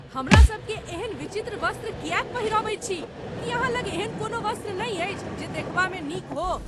हमरा सभकेँ एहन विचित्र वस्त्र किएक पहिरबैत छी? की अहाँ लग एहन कोनो वस्त्र नहि अछि जे देखबामे नीक हो?